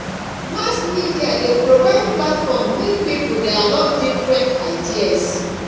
mass media dey provide platform make people dialogue different ideas